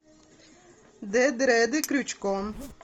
д дреды крючком